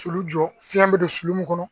Sulu jɔ fiɲɛ bɛ don sulu mun kɔnɔ